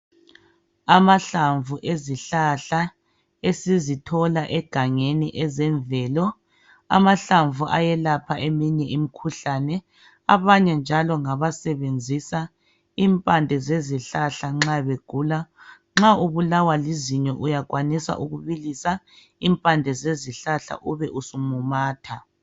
Amahlamvu ezihlahla esizithola egangeni ezemvelo , amahlamvu ayelapha eminye imikhuhlane . Abanye njalo ngabasebenzisa impande zezihlahla nxa begula .Nxa ubulawa lizinyo uyakhwanisa ukubilisa impande zezihlahla ube usumumatha .